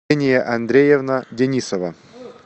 андреевна денисова